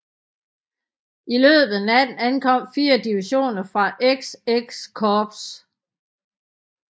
I løbet af natten ankom fire divisioner fra XX Korps